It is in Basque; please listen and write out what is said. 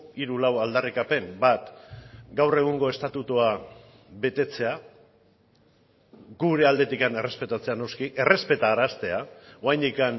hiru lau aldarrikapen bat gaur egungo estatutua betetzea gure aldetik errespetatzea noski errespetaraztea oraindik